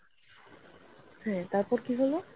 হম তারপর কি হলো?